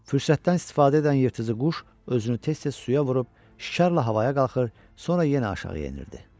Fürsətdən istifadə edən yırtıcı quş özünü tez-tez suya vurub şikarla havaya qalxır, sonra yenə aşağı enirdi.